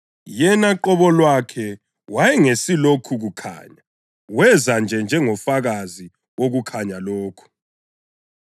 Yena qobo lwakhe wayengesi lokho kukhanya; weza nje njengomfakazi wokukhanya lokho.